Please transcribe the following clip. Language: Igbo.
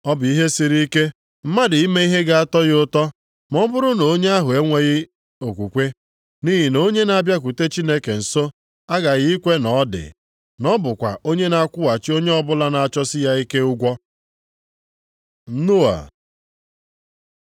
Ọ bụ ihe siri ike mmadụ ime ihe ga-atọ ya ụtọ ma ọ bụrụ na onye ahụ enweghị okwukwe. Nʼihi na onye na-abịakwute Chineke nso aghaghị ikwe na ọ dị. Na ọ bụkwa onye na-akwụghachi onye ọbụla na-achọsi ya ike ụgwọ. Noa